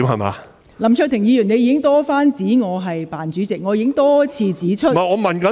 林卓廷議員，你已經多番指我"扮主席"，我已經多次指出......